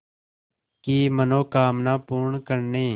की मनोकामना पूर्ण करने